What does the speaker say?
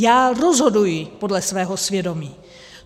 Já rozhoduji podle svého svědomí.